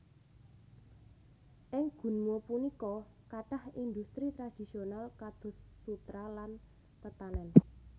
Ing Gunma punika kathah industri tradisional kados sutra lan tetanèn